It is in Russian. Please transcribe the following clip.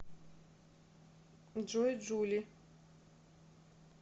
джой джули